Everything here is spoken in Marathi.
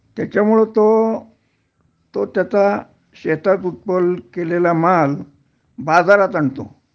त्याच्यामुळं तो तो त्याचा शेतात उत्पन्न केलेला माल बाजारात आणतो